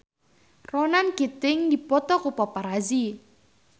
Ronan Keating dipoto ku paparazi